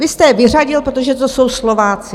Vy jste je vyřadil, protože to jsou Slováci.